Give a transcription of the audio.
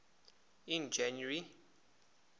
in january